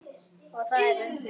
Og þar undir